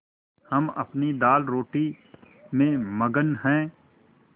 हम अपनी दालरोटी में मगन हैं